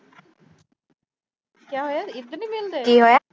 ਕੀ ਹੋਇਆ ਇਧਰ ਨੀ ਮਿਲਦੇ